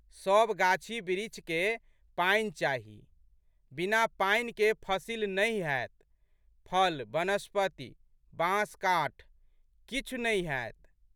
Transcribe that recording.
सब गाछबिरिछके पानि चाही। बिना पानिकेँ फसिल नहि हैत, फल, वनस्पति, बाँसकाठ किछु नहि हैत।